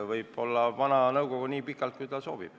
Võib töötada vana nõukogu nii pikalt, kui esimees soovib.